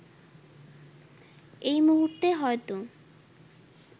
এই মুহূর্তে হয়তো